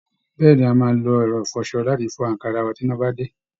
Bẹ́ẹ̀ ni, a máa lo ẹ̀rọ ìfọṣọ láti fi fọ àǹkárá wa bí iná bá dé